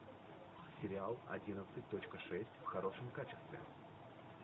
сериал одиннадцать точка шесть в хорошем качестве